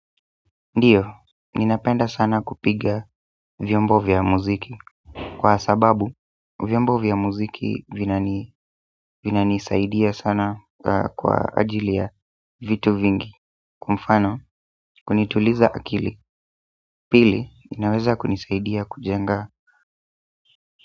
Ndiyo, ninapenda sana kupiga vyombo vya muziki kwa sababu, vyombo vya muziki vinanisaidia sana kwa ajili ya vitu vingi kuwa mfano, kunituliza akili, pili, inaweza kunisaidia kujenga.